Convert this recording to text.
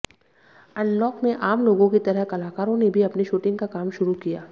unlock में आम लोगों की तरह कलाकारों ने भी अपने शूटिंग का काम शुरू किया